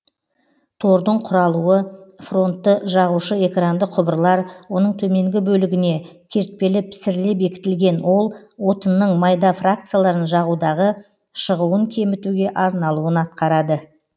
тордың құралуы фронтты жағушы экранды құбырлар оның төменгі бөлігіне кертпелі пісіріле бекітілген ол отынның майда фракцияларын жағудағы шығуын кемітуге арналуын атқарады